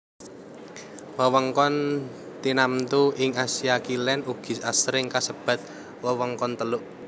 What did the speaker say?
Wewengkon tinamtu ing Asia Kilèn ugi asring kasebat wewengkon Teluk